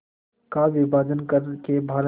का विभाजन कर के भारत